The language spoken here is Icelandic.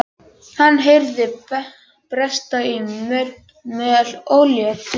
Hann heyrði bresta í möl og leit upp.